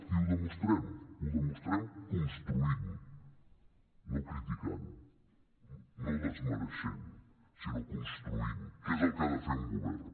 i ho demostrem ho demostrem construint no criticant no desmereixent sinó construint que és el que ha de fer un govern